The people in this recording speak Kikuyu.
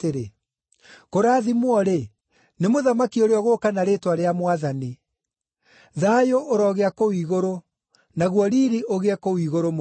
“Kũrathimwo-rĩ, nĩ mũthamaki ũrĩa ũgũũka na rĩĩtwa rĩa Mwathani!” “Thayũ ũrogĩa kũu igũrũ, naguo riiri ũgĩe kũu igũrũ mũno!”